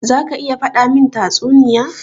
Za ka iya faɗa min tatsuniya?